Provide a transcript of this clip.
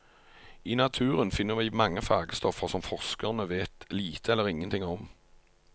I naturen finner vi mange fargestoffer som forskerne vet lite eller ingen ting om.